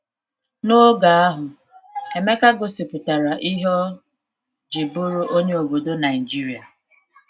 N’oge ahụ, Emeka gosipụtara ihe ọ jị bụrụ onye obodo Naijiria.